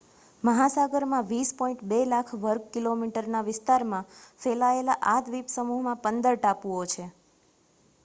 મહાસાગરમાં 20.2 લાખ વર્ગ કિલોમીટરના વિસ્તારમાં ફેલાયેલા આ દ્વીપસમૂહમાં 15 ટાપુઓ છે